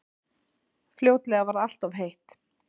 Fljótlega varð alltof heitt.